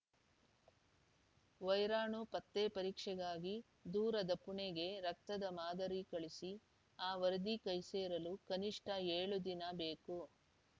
ವೈರಾಣು ಪತ್ತೆ ಪರೀಕ್ಷೆಗಾಗಿ ದೂರದ ಪುಣೆಗೆ ರಕ್ತದ ಮಾದರಿ ಕಳಿಸಿ ಆ ವರದಿ ಕೈಸೇರಲು ಕನಿಷ್ಠ ಏಳು ದಿನ ಬೇಕು